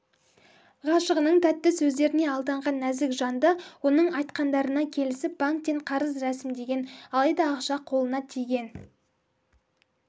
ғашығының тәтті сөздеріне алданған нәзік жанды оның айтқандарына келісіп банктен қарыз рәсімдеген алайда ақша қолына тиген